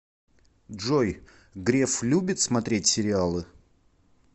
джой греф любит смотреть сериалы